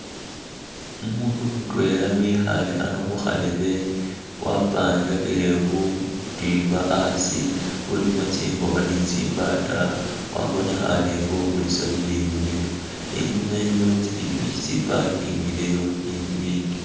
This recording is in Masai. Umundu mutwela ikhaye ano khukharebe wapangakile butimba asii bulimo tsingokho ni tsimbata , wabonekhane inga ukulisa bibindu bino , inyuma iliyo tsi’pikyipikyi tsi’pakingileyo ni bibindi